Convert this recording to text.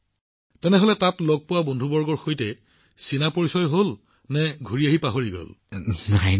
প্ৰধানমন্ত্ৰীঃ গতিকে আপুনি তাত স্থাপন কৰা বন্ধুবৰ্গৰ সৈতে আপোনাৰ বাৰ্তালাপৰ স্তৰ বৃদ্ধি কৰিছিল নেকি নে ঘূৰি অহাৰ পিছত তেওঁলোকক পাহৰি গৈছিল